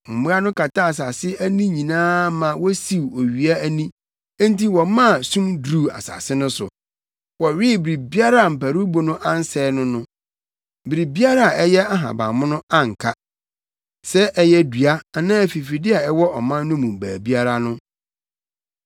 Mmoa no kataa asase ani nyinaa ma wosiw owia ani enti wɔmaa sum duruu asase no so. Wɔwee biribiara a mparuwbo no ansɛe no no; biribiara a ɛyɛ ahabammono anka; sɛ ɛyɛ dua anaa afifide a ɛwɔ ɔman no mu baabiara no.